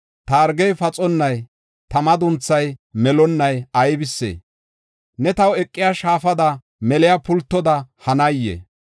Ta hargey paxonnay, ta madunthay melonnay aybisee? Ne taw eqiya shaafada, meliya pultoda hanayee?